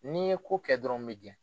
N'i ye ko kɛ dɔrɔn n b'i gɛn